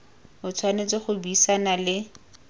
o tshwanetse go buisana le